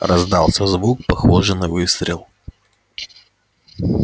раздался звук похожий на выстрел